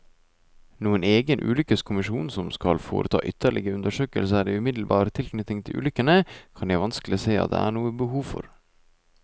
Noen egen ulykkeskommisjon som skal foreta ytterligere undersøkelser i umiddelbar tilknytning til ulykkene, kan jeg vanskelig se at det er noe behov for.